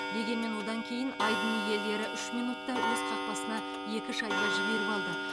дегенмен одан кейін айдын иелері үш минутта өз қақпасына екі шайба жіберіп алды